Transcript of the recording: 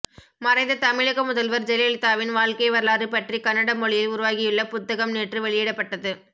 மறைந்த தமிழக முதல்வர் ஜெயலலிதாவின் வாழ்க்கை வரலாறு பற்றி கன்னட மொழியில் உருவாகியுள்ள புத்தகம் நேற்று வெளியிடப்பட்டது